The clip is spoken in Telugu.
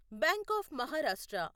bank of Maharashtra